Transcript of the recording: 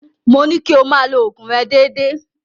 Mo ní kí o máa lo òògùn rẹ déédéé.